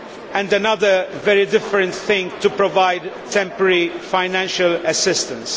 and another, very different thing to provide temporary financial assistance.